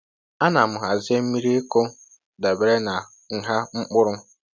A na m hazie miri ịkụ dabere na nha mkpụrụ